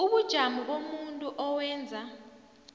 ubujamo bomuntu owenza